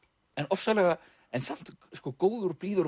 en samt góður og blíður